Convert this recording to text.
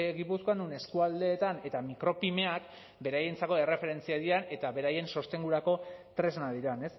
gipuzkoan non eskualdeetan eta micropymeak beraientzako erreferentziak diren eta beraien sostengurako tresnak diren